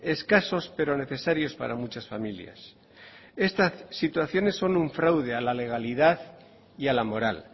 escasos pero necesarios para muchas familias estas situaciones son un fraude a la legalidad y a la moral